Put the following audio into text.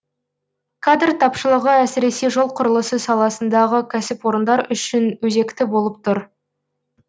кадр тапшылығы әсіресе жол құрылысы саласындағы кәсіпорындар үшін өзекті болып тұр